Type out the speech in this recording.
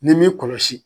Ni m'i kɔlɔsi